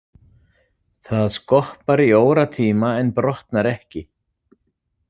Það skoppar í óratíma en brotnar ekki.